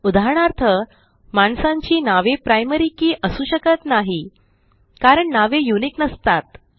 उदाहरणार्थ माणसांची नावे प्रायमरी के असू शकत नाही कारण नावे युनिक नसतात